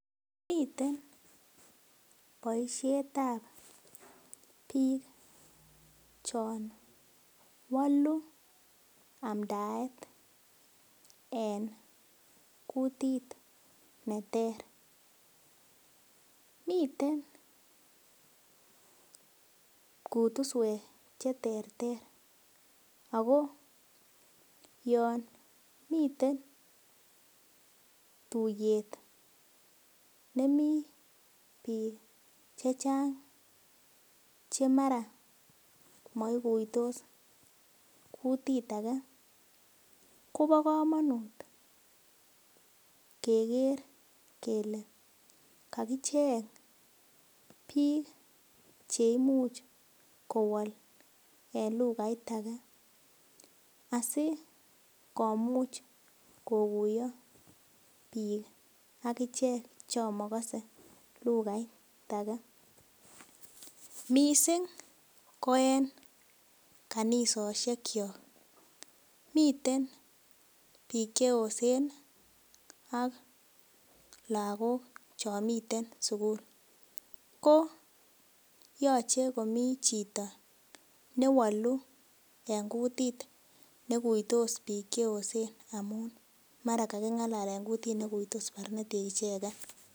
Miten boishetab biik chon bo biik che woluu amdaet en kutit neter, miten kutuswek che terter ako yo miten tuyet nemii biik chechang che mara moikuitos kutit agee kobo komonut kegere kelee kakicheng biik che imuch kowol en lugait agee asi komuch koguyo biik akichek chon mogose lugait agee missing ko en kanisoshekyok miten biik che yosen ak logok chon miten sukul ko yoche komii chito ne woluu en kutit ne kuitos biik che yosen amun maraa kakingalalen kutit ne kuitos barnotik ichegen